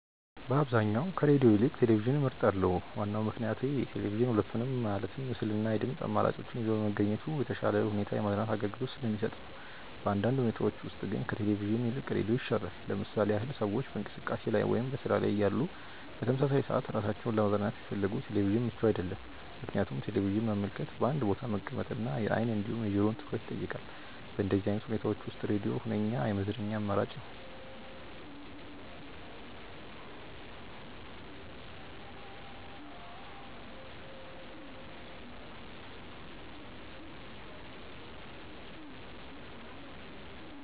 በአብዛኛው ከሬድዮ ይልቅ ቴሌቪዥንን እመርጣለሁ። ዋናው ምክንያቴ ቴሌቪዥን ሁለቱንም ማለትም ምስል እና የድምጽ አማራጮችን ይዞ በመገኘቱ በተሻለ ሁኔታ የማዝናናት አገልግሎትን ስለሚሰጥ ነው። በአንዳንድ ሁኔታዎች ውስጥ ግን ከቴሌቪዥን ይልቅ ሬዲዮ ይሻላል። ለምሳሌ ያህል ሰዎች በእንቅስቃሴ ላይ ወይም በስራ ላይ እያሉ በተመሳሳይ ሰዓት ራሳቸውን ለማዝናናት ቢፈልጉ ቴሌቪዥን ምቹ አይደለም፤ ምክንያቱም ቴሌቪዥንን መመልከት በአንድ ቦታ መቀመጥ እና የአይን እንዲሁም የጆሮውን ትኩረት ይጠይቃል። በእንደዚህ አይነት ሁኔታዎች ውስጥ ሬድዮ ሁነኛ የመዝናኛ አማራጭ ነው።